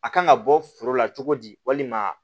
A kan ka bɔ foro la cogo di walima